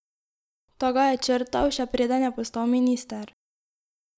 Ta ga je črtal, še preden je postal minister!